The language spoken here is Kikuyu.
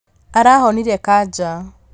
Arahonire kanja